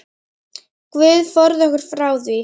Guð forði okkur frá því.